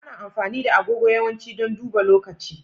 Ana amfani da agogo yawanci don duba lokaci.